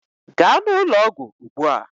Gaa n'ụlọọgwụ ugbu a!